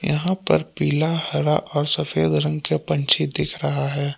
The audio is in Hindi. यहां पर पीला हरा और सफेद रंग के पंछी दिख रहा है।